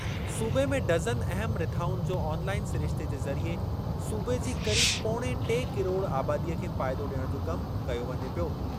सूबे में डज़न अहम रिथाउनि जो ऑनलाइन सिरिश्ते जे ज़रिए सूबे जी क़रीब पोणे टे किरोड़ आबादीअ खे फ़ाइदो डि॒यणु जो कम कयो वञे पियो।